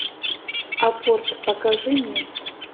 апорт покажи мне